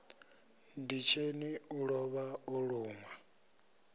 nditsheni u lovha o lunwa